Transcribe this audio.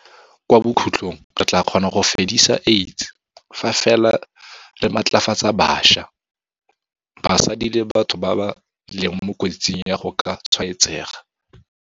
Kwa bokhutlong re tla kgona go fedisa AIDS fa fela re matlafatsa bašwa, basadi le batho ba ba leng mo kotsing ya go ka tshwaetsega.